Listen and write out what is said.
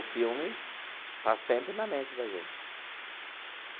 O filme está sempre na mente da gente.